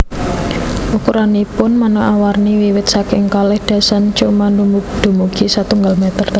Ukuranipun manéka warni wiwit saking kalih dasaan cm dumugi satunggal meter